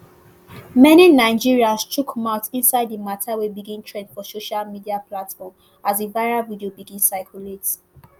many nigerians chook mouth inside di mata wey begin trend for social media platforms as di viral video begin circulate